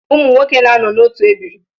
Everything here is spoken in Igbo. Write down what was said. Ụmụnwoke na-anọ n’otu ebiri